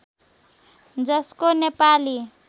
जसको नेपाली